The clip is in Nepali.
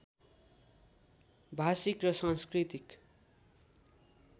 भाषिक र सांस्कृतिक